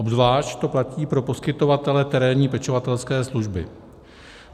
Obzvlášť to platí pro poskytovatele terénní pečovatelské služby.